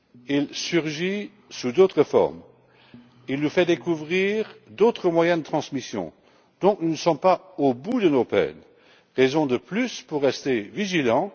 Il surgit sous d'autres formes, il nous fait découvrir d'autres moyens de transmission, nous ne sommes donc pas au bout de nos peines, raison de plus pour rester vigilants.